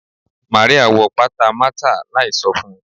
Maria wọ pata Martha láì so fun